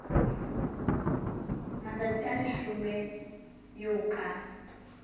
matsatsi a leshome eo ka